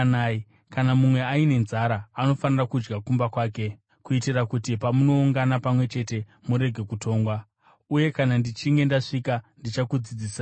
Kana mumwe aine nzara, anofanira kudya kumba kwake, kuitira kuti pamunoungana pamwe chete murege kutongwa. Uye kana ndichinge ndasvika ndichakudzidzisai zvimwe.